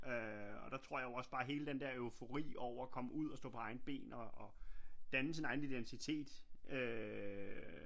Øh og der tror jeg også bare hele den der eufori over at komme ud og stå på egne ben og danne sin egen identitet øh